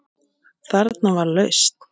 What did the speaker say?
Þarna var lausn.